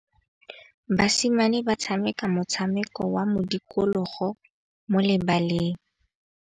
Basimane ba tshameka motshameko wa modikologô mo lebaleng.